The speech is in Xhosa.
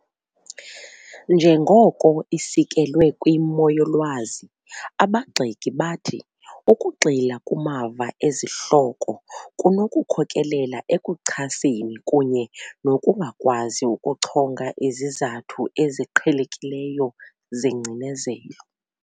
Njengoko isekelwe kwimo yolwazi, abagxeki bathi ukugxila kumava ezihloko kunokukhokelela ekuchaseni kunye nokungakwazi ukuchonga izizathu eziqhelekileyo zengcinezelo.